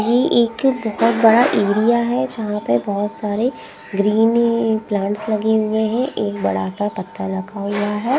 यह एक बहुत बड़ा एरिया हैं जहाँ पे बहुत सारे ग्रीन प्लांट्स लगे हुए हैं एक बड़ा सा पत्थर लगा हुआ हैं ।